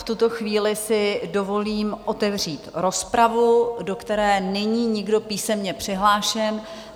V tuto chvíli si dovolím otevřít rozpravu, do které není nikdo písemně přihlášen.